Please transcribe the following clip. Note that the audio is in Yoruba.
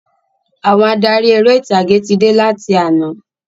Àwọn adarí eré ìtàgé tí dé láti àná